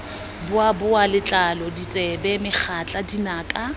boboa letlalo ditsebe megatla dinaka